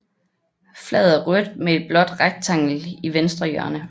Flaget er rødt med et blåt rektangel i venstre hjørne